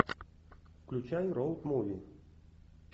включай роуд муви